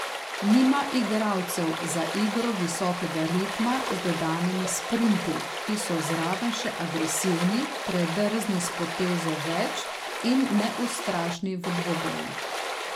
Nima igralcev za igro visokega ritma z dodanimi sprinti, ki so zraven še agresivni, predrzni s potezo več in neustrašni v dvobojih.